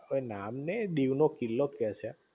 હવે નામ નઇ એ દીવ નો કિલ્લો જ કે છે